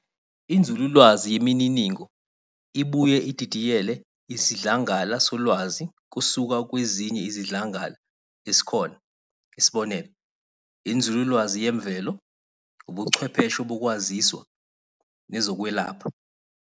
INzululwazi yeMininingo ibuye ididiyele isidlangala solwazi kusuka kwezinye izidlangala esikhona, isb. inzululwazi yemvelo, Ubuchwepheshe bokwaziswa, nezokwelapha.